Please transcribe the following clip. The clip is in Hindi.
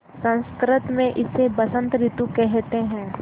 संस्कृत मे इसे बसंत रितु केहेते है